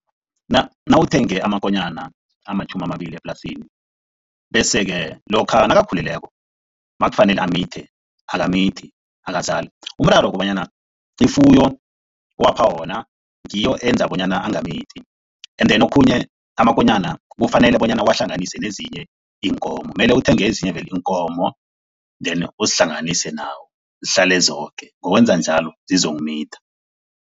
Nawuthenge amakonyana amatjhumi amabili eplasini bese-ke lokha nakakhulileko, makufanele amithe akamithi, akazali, umraro kobanyana ifuyo owapha wona ngiyo eyenza bonyana angamithi and then okhunye amakonyana kufanele bonyana uwahlanganise nezinye iinkomo mele uthenge ezinye vele iinkomo then uzihlanganise nawo zihlale zoke, ngokwenza njalo zizokumitha.